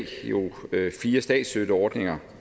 fire statsstøtteordninger